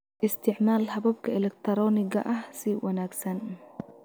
Isticmaal hababka elektarooniga ah si wanagsan.